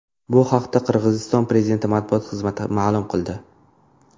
Bu haqda Qirg‘iziston Prezidenti matbuot xizmati ma’lum qildi .